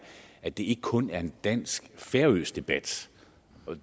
at det ikke kun er en dansk færøsk debat